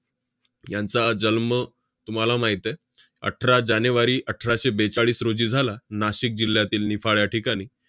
यांचा जन्म तुम्हाला माहित आहे, अठरा जानेवारी अठराशे बेचाळीस रोजी झाला नाशिक जिल्ह्यातील निफाड या ठिकाणी.